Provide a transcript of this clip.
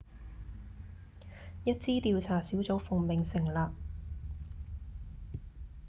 一支調查小組奉命成立